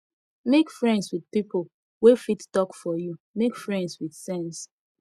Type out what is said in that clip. make friends with pipo wey fit talk for you make friends with sense